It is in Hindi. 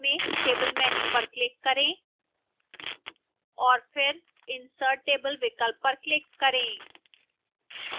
अब menu bar में table menu पर click करें और फिर insert table विकल्प पर click करें